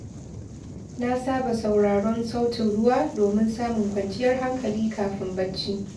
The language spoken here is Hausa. Na saba sauraron sautin ruwa domin samun kwanciyar hankali kafin bacci.